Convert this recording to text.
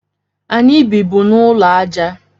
Anyị bịbụ n'ụlọ aja